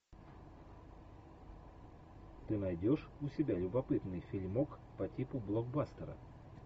ты найдешь у себя любопытный фильмок по типу блокбастера